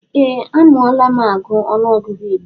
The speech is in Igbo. Ee a malu m agụ ọnụọgụgụ igbo